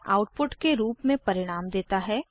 यह आउटपुट के रूप में परिणाम देता है